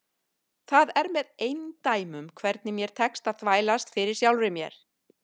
Það er með eindæmum hvernig mér tekst að þvælast fyrir sjálfri mér.